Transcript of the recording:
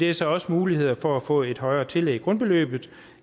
er så også muligheder for at få et højere tillæg i grundbeløbet